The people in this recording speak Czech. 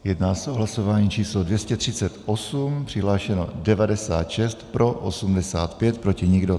Jedná se o hlasování číslo 238, přihlášeno 96, pro 85, proti nikdo.